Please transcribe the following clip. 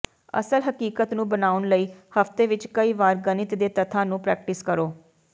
ਅਸਲ ਹਕੀਕਤ ਨੂੰ ਬਣਾਉਣ ਲਈ ਹਫ਼ਤੇ ਵਿਚ ਕਈ ਵਾਰ ਗਣਿਤ ਦੇ ਤੱਥਾਂ ਨੂੰ ਪ੍ਰੈਕਟਿਸ ਕਰੋ